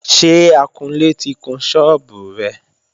Ṣé akunlé ti kun sọ́ọ́bù rẹ?